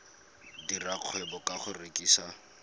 dira kgwebo ka go rekisa